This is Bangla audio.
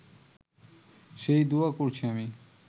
সেই দোয়া করছি আমি